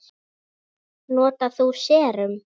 Notar þú serum?